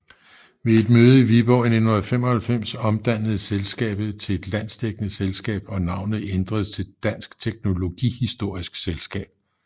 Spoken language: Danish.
Ved et møde i Viborg i 1995 omdannedes selskabet til et landsdækkende selskab og navnet ændredes til Dansk Teknologihistorisk Selskab